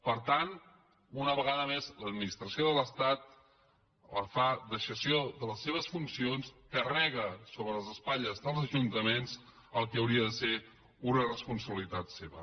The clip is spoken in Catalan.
per tant una vegada més l’administració de l’estat fa deixament de les seves funcions carrega sobre les espatlles dels ajuntaments el que hauria de ser una responsabilitat seva